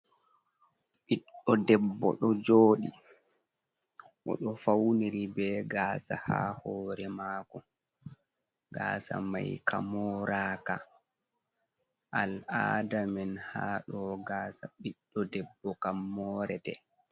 Ɗiɗɗo debbo ɗo joɗi, o ɗo fauniri be gasa ha hore mako, gasa mai ka moraka, al'ada men haɗo gasa ɓiɗɗo debbo kam morete.